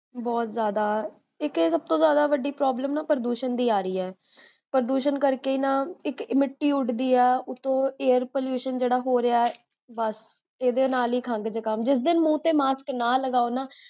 ਬੋਹੋਤ ਜ਼ਾਦਾ ਇਕ ਤਾ ਸਬ ਤੋ ਵੱਡੀ ਪ੍ਰੋਬਲਮ ਪ੍ਰਦੂਸ਼ਣ ਦੀ ਆਰਹੀ ਹੈ ਪ੍ਰਦੂਸ਼ਣ ਕਰਕੇ ਨਾ ਇਕ ਮਿੱਟੀ ਉਡਦੀ ਆ, ਉੱਤੋ air pollution ਜੇਹੜਾ ਹੋਰੇਹਾ ਹੈ, ਬੱਸ, ਏਦੇ ਨਾਲ ਹੀ ਖੰਗ ਜੁਖਾਮ, ਉਤੋਂ ਜੇ ਮਾਸਕ ਨਾ ਲਗਾਓ ਨਾ